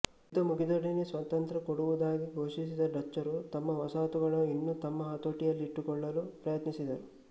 ಯುದ್ಧ ಮುಗಿದೊಡನೆಯೇ ಸ್ವಾತಂತ್ರ್ಯ ಕೊಡುವುದಾಗಿ ಘೋಷಿಸಿದ ಡಚ್ಚರು ತಮ್ಮ ವಸಾಹತನ್ನು ಇನ್ನೂ ತಮ್ಮ ಹತೋಟಿಯಲ್ಲಿಟ್ಟುಕೊಳ್ಳಲು ಪ್ರಯತ್ನಿಸಿದರು